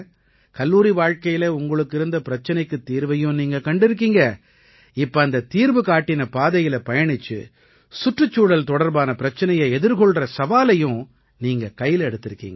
கல்லூரி வாழ்க்கையில உங்களுக்கு இருந்த பிரச்சனைக்குத் தீர்வையும் நீங்க கண்டிருக்கீங்க இப்ப அந்தத் தீர்வு காட்டின பாதையில பயணிச்சு சுற்றுச்சூழல் தொடர்பான பிரச்சனையை எதிர்கொள்ற சவாலையும் நீங்க கையில எடுத்திருக்கீங்க